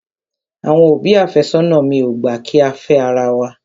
Àwọn òbí àfẹ́sónà mi ò gbà kí á fẹ́ ara wa.